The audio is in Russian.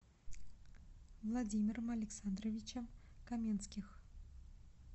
владимиром александровичем каменских